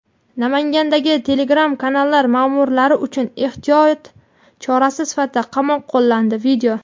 Namangandagi Telegram-kanallar ma’murlari uchun ehtiyot chorasi sifatida qamoq qo‘llandi.